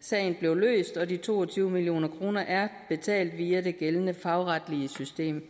sagen blev løst og de to og tyve million kroner er betalt via det gældende fagretlige system